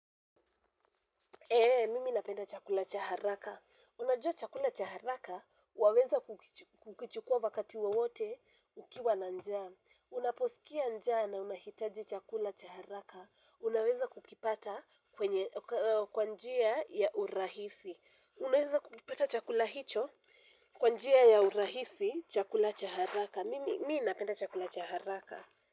Eeeh, mimi napenda chakula cha haraka. Unajua chakula cha haraka, waweza kukichukua wakati wowote ukiwa na njaa. Unaposikia njaa na unahitaji chakula cha haraka. Unaweza kukipata kwa njia ya urahisi. Unaweza kukipata chakula hicho kwa njia ya urahisi chakula cha haraka. Mimi napenda chakula cha haraka.